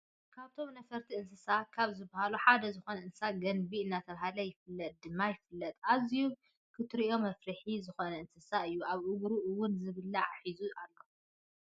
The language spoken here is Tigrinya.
ካበቶም ነፈርቶ እንስሳታት ካብ ዝብሃሉ ሓደ ዝኮነ እንስሳ ገንቢ እናተባህለ ይፍለጥ ድማ ይፍለጥ። ኣዝዩ ክትርእዮ መፍርሒ ዝኮነእንስሳ እዩ። ኣብ እግሩ እውን ዝብላዕ ሒዙ ኣሎ።